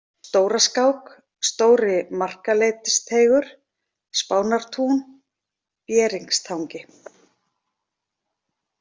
Stóraskák, Stóri-Markaleitisteigur, Spánartún, Bieringstangi